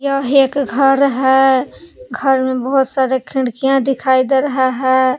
यह एक घर है घर में बहुत सारे खिड़कियां दिखाई दे रहा है।